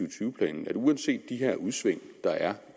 og tyve planen at uanset de her udsving der er